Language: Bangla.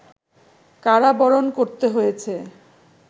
কারাবরণ করতে হয়েছে